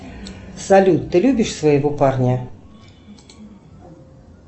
салют ты любишь своего парня